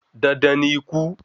Dandan ni ikú